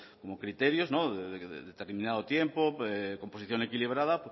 como criterios de determinado tiempo composición equilibrada